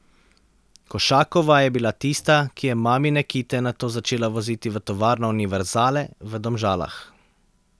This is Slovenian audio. Košakova je bila tista, ki je mamine kite nato začela voziti v tovarno Univerzale v Domžalah.